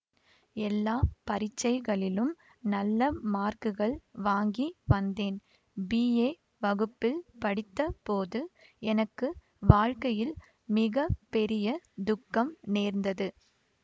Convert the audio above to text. எல்லா பரீட்சைகளிலும் நல்ல மார்க்குகள் வாங்கி வந்தேன் பிஏ வகுப்பில் படித்த போது எனக்கு வாழ்க்கையில் மிக பெரிய துக்கம் நேர்ந்தது